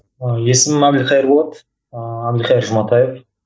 есімім әбілқайыр болады ыыы әбілқайыр жұматаев